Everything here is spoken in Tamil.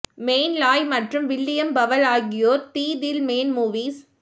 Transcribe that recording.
மெய்ன் லாய் மற்றும் வில்லியம் பவல் ஆகியோர் தி தில் மேன் மூவிஸ்